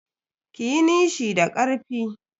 Kiyi nishi da karfi.